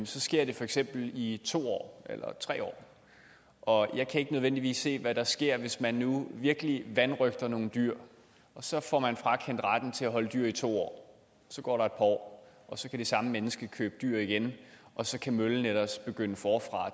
sker det for eksempel i to år eller tre år og jeg kan ikke nødvendigvis se hvad der sker hvis man nu virkelig vanrøgter nogle dyr og så får man frakendt retten til at holde dyr i to år så går der år og så kan det samme menneske købe dyr igen og så kan møllen ellers begynde forfra